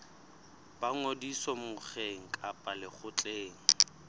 ba ngodiso mokgeng kapa lekgotleng